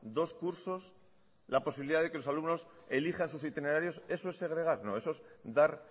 dos cursos la posibilidad de que los alumnos elijan sus itinerarios eso es segregar no eso es dar